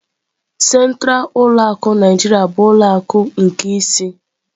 Sentralu ulọ akụ Naijiriya bụ ulọ akụ nke ịsị.